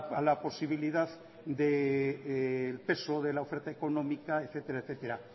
a la posibilidad del peso de la oferta económica etcétera etcétera